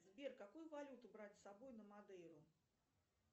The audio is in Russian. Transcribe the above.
сбер какую валюту брать с собой на мадейру